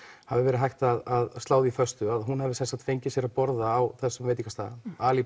hafi verið hægt að slá því föstu að hún hafi sem sagt fengið sér að borða á þessum veitingastað ali